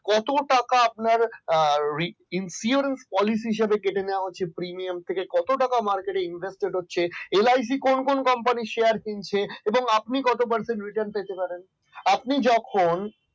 কত টাকা আপনার incurred policy হিসেবে কেটে নেওয়া হচ্ছে কত টাকা premium market invest হচ্ছে, LIC কোন কোন company share কিনছে এবং আপনি কত parcent return পেতে পারেন আপনি যখন